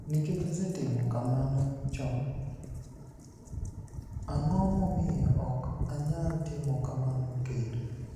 "niikech asetimo kamano choni, anig'o momiyo ok aniyal timo kamano kenido?"